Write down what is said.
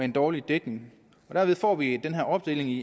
en dårlig dækning og derved får vi den her opdeling i